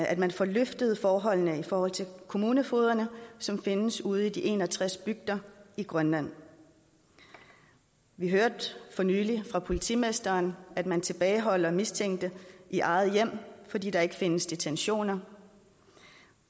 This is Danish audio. at man får løftet forholdene i forhold til kommunefogederne som findes ude i de en og tres bygder i grønland vi hørte for nylig fra politimesteren at man tilbageholder mistænkte i eget hjem fordi der ikke findes detentioner